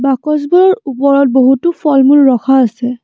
বাকচ বোৰৰ ওপৰত বহুতো ফল-মূল ৰখা আছে।